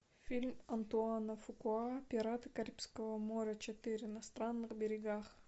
фильм антуана фукуа пираты карибского моря четыре на странных берегах